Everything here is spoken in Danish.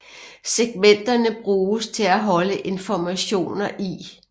Segmenterne bruges til at holde informationer i